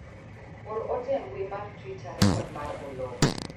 or ote e mbui mar twita rekod mar Oloo